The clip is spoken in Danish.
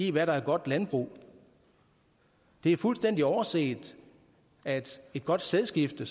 i hvad der er godt landbrug det er fuldstændig overset at et godt sædskifte